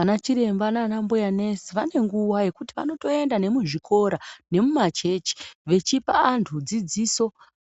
Ana chiremba nana mbuya nesi vanenguwa yekuti vanotoenda nemuzvikora nemumachechi vechipa vantu dzidziso